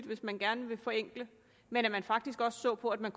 hvis man gerne vil forenkle men at man faktisk også ser på at man